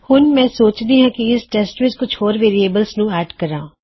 ਹੁਣ ਮੈਂ ਸੋਚਦੀ ਹਾਂ ਕੀ ਇਸ ਟੈੱਸਟ ਵਿੱਚ ਕੁਝ ਹੋਰ ਵੇਅਰਿਏਬਲਜ਼ ਨੂੰ ਐੱਡ ਕਰਾਂ